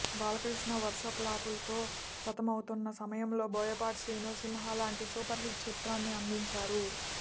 బాలకృష్ణ వరుస ప్లాపులతో సతమతమవుతున్న సమయంలో బోయపాటి శ్రీను సింహా లాంటి సూపర్ హిట్ చిత్రాన్ని అందించారు